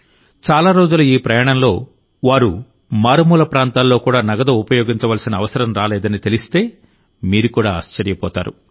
చాలా రోజుల ఈ ప్రయాణంలో వారు మారుమూల ప్రాంతాల్లో కూడా నగదు ఉపయోగించవలసిన అవసరం రాలేదని తెలిస్తే మీరు కూడా ఆశ్చర్యపోతారు